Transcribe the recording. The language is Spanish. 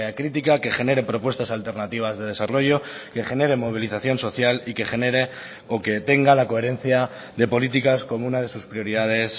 crítica que genere propuestas alternativas de desarrollo que genere movilización social y que genere o que tenga la coherencia de políticas como una de sus prioridades